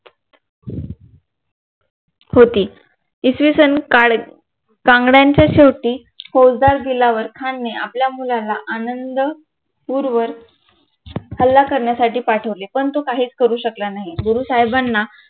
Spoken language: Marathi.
होती इसवी सन काळी कांगड्याच्या शेवटी फौजदार दिलावर खानने आपल्या मुलांना आनंदपूर वर हल्ला करण्यासाठी पाठवले. पण तो काहीच करू शकला नाही. गुरु साहेबांना